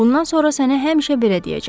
Bundan sonra səni həmişə belə deyəcəyəm: